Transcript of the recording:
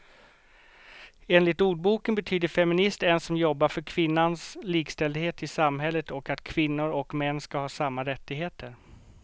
Enligt ordboken betyder feminist en som jobbar för kvinnans likställdhet i samhället och att kvinnor och män ska ha samma rättigheter.